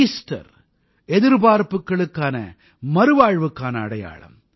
Easter எதிர்பார்ப்புக்களுக்கான மறுவாழ்வுக்கான அடையாளம்